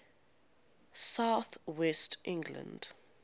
south west england